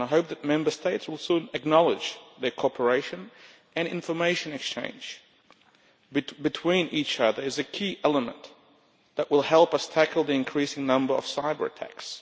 I hope that Member States will soon acknowledge that cooperation and information exchange between each other is a key element that will help us tackle the increasing number of cyber attacks.